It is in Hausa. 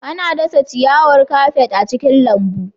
Ana dasa ciyawar kafet a cikin lambu.